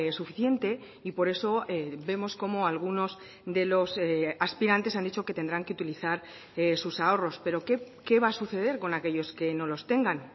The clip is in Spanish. suficiente y por eso vemos cómo algunos de los aspirantes han dicho que tendrán que utilizar sus ahorros pero qué va a suceder con aquellos que no los tengan